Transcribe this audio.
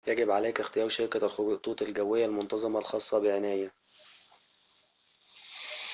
يجب عليك اختيار شركة الخطوط الجوية المنتظمة الخاصة بعناية